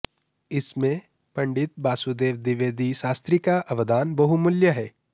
इसमें पंडित वासुदेव दिवेदी शास्त्री का अवदान बहुमूल्य है